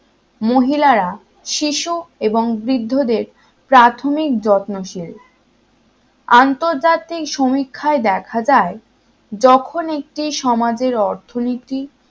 মহিলারা শিশু এবং বৃদ্ধদের প্রাথমিক যত্নশীল আন্তর্জাতিক সমীক্ষায় দেখা যায় যখন একটি সমাজের অর্থনীতি